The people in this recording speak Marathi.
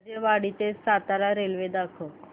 राजेवाडी ते सातारा रेल्वे दाखव